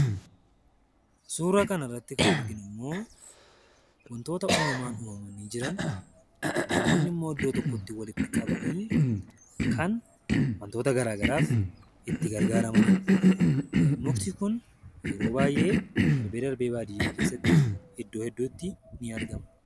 Suura kanarratti kan arginu immoo wantoota uumamaan uumamanii jiran, namoonni immoo iddoo tokkotti walitti qabanii kan wantoota garaa garaaf itti gargaaramaniidha. Mukti kun yeroo baay'ee darbee darbee baadiyaa keessatti iddoo hedduutti ni argama.